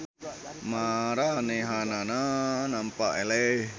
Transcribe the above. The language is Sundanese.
Maranehanana nampa eleh.